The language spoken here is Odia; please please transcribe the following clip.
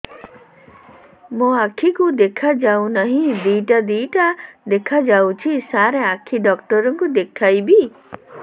ମୋ ଆଖିକୁ ଦେଖା ଯାଉ ନାହିଁ ଦିଇଟା ଦିଇଟା ଦେଖା ଯାଉଛି ସାର୍ ଆଖି ଡକ୍ଟର କୁ ଦେଖାଇବି